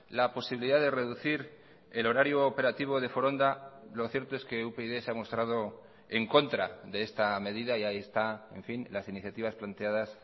la posibilidad de reducir el horario operativo de foronda lo cierto es que upyd se ha mostrado en contra de esta medida y ahí está en fin las iniciativas planteadas